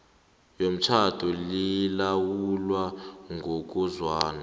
yomtjhado lilawulwa ngokuzwana